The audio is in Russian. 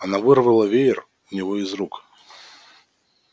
она вырвала веер у него из рук